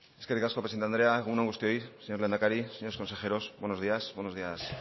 eskerrik asko presidente andrea egun on guztioi señor lehendakari señores consejeros buenos días